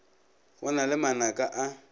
go na le manaka a